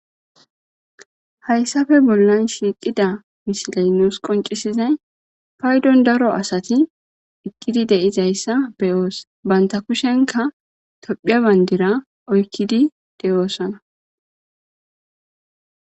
Haysappeb bollan shiiqida misiley nus qoncisizay paydon daro asat eqid dizaysa beyos . Banta kushenka Tophiya badira oykid de'osona.